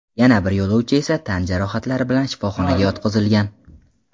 Yana bir yo‘lovchi esa tan jarohatlari bilan shifoxonaga yotqizilgan.